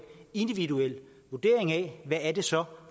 individuel vurdering af hvad det så